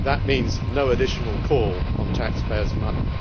That means no additional call on taxpayers' money.